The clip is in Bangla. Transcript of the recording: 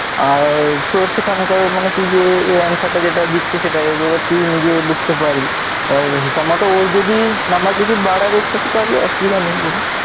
আর তো সেখানকার মানে হচ্ছে যে এই answer টা যেটা দিচ্ছে সেটা যদি তুই নিজে বুঝতে পারিস আর ওর যদি number যদি বাড়ার থাকে তাহলে অসুবিধা নেই কোন,